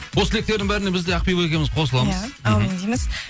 осы тілектердің бәріне біз де ақбибі екеуіміз қосыламыз иә әумин дейміз